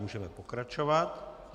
Můžeme pokračovat.